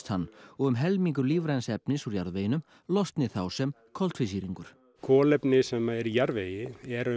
hann og um helmingur lífræns efnis úr jarðveginum losni þá sem koltvísýringur kolefni sem er í jarðvegi er